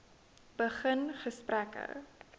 begin gesprekke